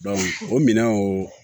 o minɛnw